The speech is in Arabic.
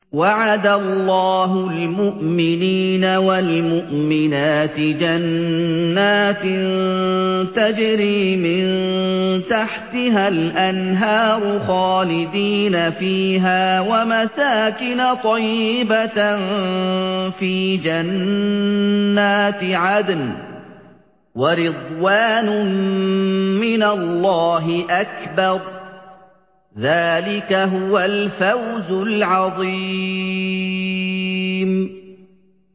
وَعَدَ اللَّهُ الْمُؤْمِنِينَ وَالْمُؤْمِنَاتِ جَنَّاتٍ تَجْرِي مِن تَحْتِهَا الْأَنْهَارُ خَالِدِينَ فِيهَا وَمَسَاكِنَ طَيِّبَةً فِي جَنَّاتِ عَدْنٍ ۚ وَرِضْوَانٌ مِّنَ اللَّهِ أَكْبَرُ ۚ ذَٰلِكَ هُوَ الْفَوْزُ الْعَظِيمُ